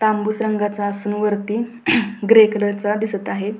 तांबूस रंगाचा असून वरती ग्रे कलरचा दिसत आहे.